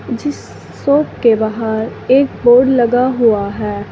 जिस शॉप के बाहर एक बोर्ड लगा हुआ है।